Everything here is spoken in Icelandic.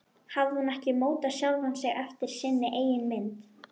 Hafði hún ekki mótað sjálfa sig eftir sinni eigin mynd?